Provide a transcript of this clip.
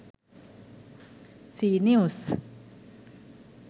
c news